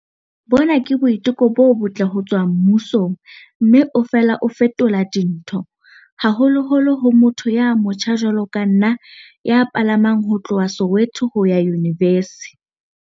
Bona ke boiteko bo botle ho tswa mmusong mme o fela o fetola dintho, haholoholo ho motho ya motjha jwalo ka nna ya palamang ho tloha Soweto ho ya yunivesi.